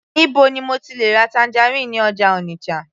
níbo ni mo ti le ra tangerine ní ọjà Onitsha